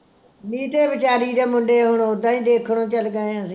ਨੀਟੇ ਵਿਚਾਰੀ ਦੇ ਮੁੰਡੇ ਹੁਣ ਉਦਾ ਈ ਦੇਖਣੋ ਚੱਲ ਗਏ ਅਸੀਂ